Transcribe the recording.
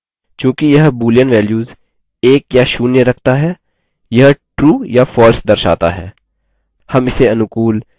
चूँकि यह boolean values 1 या 0 रखता है यह true या false दर्शाता है